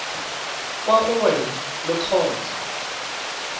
kwa go wena le kgotsa